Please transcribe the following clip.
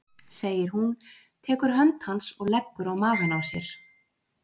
segir hún, tekur hönd hans og leggur á magann á sér.